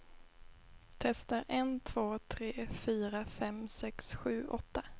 Testar en två tre fyra fem sex sju åtta.